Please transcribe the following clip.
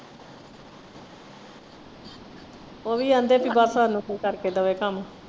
ਉਹ ਵੀ ਆਂਦੇ ਬਸ ਹਾਨੂੰ ਕੋਈ ਕਰਕੇ ਦੇਵੇ ਕੰਮ।